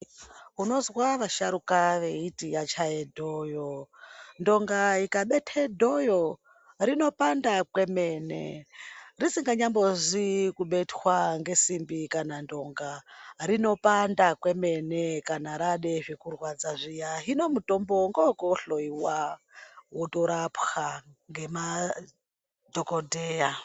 Unozwa vasharuka vechiti yachaye dhoyo ndonga ikabete dhoyo rinopanda kwemene risinganyambozi kubetwa ngezimbi kana ndonga rinopanda kwemene kana rade zvekurwadza zviya hino mutombo ngewekohloyiwa wotorapwa ngemadhokodheya.